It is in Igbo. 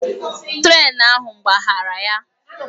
Trén ahụ gbaghara ya